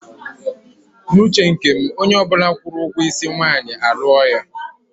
N'uche nke m, onye ọbụla kwụrụ ụgwọ isi nwaanyị, a lụọla ya.